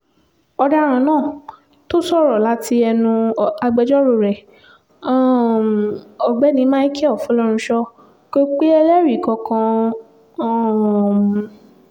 ọ̀daràn náà tó sọ̀rọ̀ láti ẹnu agbẹjọ́rò rẹ̀ um ọ̀gbẹ́ni michael fọlọ́runsọ kò pe ẹlẹ́rìí kankan um